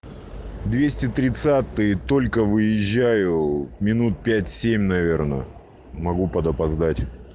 двести тридцатый только выезжаю минут пять семь наверное могу под опоздать